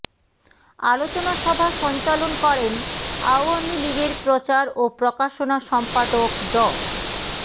আলোচনা সভা সঞ্চালন করেন আওয়ামী লীগের প্রচার ও প্রকাশনা সম্পাদক ড